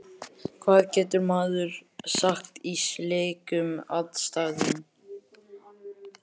Hvað getur maður sagt í slíkum aðstæðum?